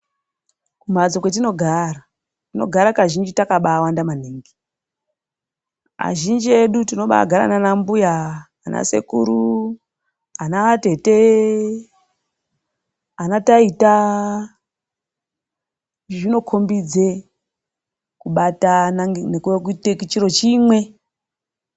Kumhatso kwatinogara, tinogara kazhinji takabawanda maningi. Azhinji edu tinobagara naana mbuya, ana sekuru, ana atete, ana taita. Zvinokombidze kubatana, kuite chiro chimwe.